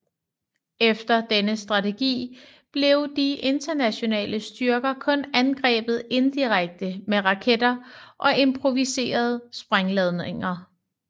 Efter denne strategi blev de internationale styrker kun angrebet indirekte med raketter og improviserede sprængladninger